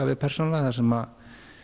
við persónulega þar sem